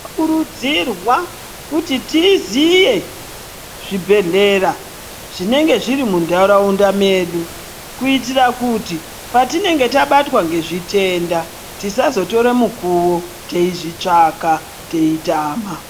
Tinokurudzirwa kuti tiziye zvibhedhlera zvinenge zvirimuntaraunda medu, kuitira kuti patinenge tabatwa ngezvitenda tisazotora mukuwo teizvitsvaka, teitama.